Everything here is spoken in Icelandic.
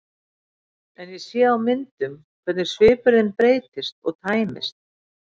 En ég sé á myndum hvernig svipur þinn breytist og tæmist.